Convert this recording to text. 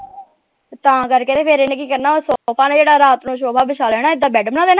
ਤਾਂ ਕਰ ਕੇ ਫੇਰ ਏਨੇ ਕੀ ਕਰਨਾ ਉਹ ਸੋਫਾ ਵਿਸ਼ਾ ਲੇਣਾ ਏਦਾਂ ਬੈਡ ਬਣਾ ਲੈਣਾ।